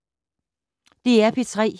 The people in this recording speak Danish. DR P3